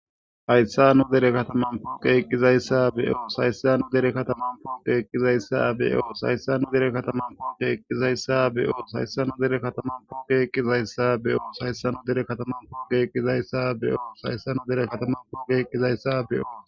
Haysa nu dere kataman poqey eqizaysa beyos